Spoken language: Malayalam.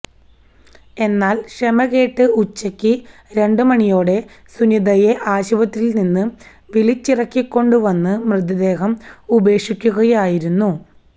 എന്നാൽ ക്ഷമകെട്ട് ഉച്ചക്ക് രണ്ട് മണിയോടെ സുനിതയെ ആശുപത്രിയിൽ നിന്ന് വിളിച്ചിറക്കികൊണ്ടു വന്ന് മൃതദേഹം ഉപേക്ഷിക്കുകയായിരുന്നു